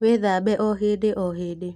Wíthambe o híndí o hīndī.